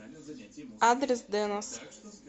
адрес дэнас